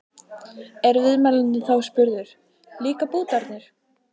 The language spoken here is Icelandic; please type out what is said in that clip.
Er viðmælandinn þá spurður: Líka bútarnir?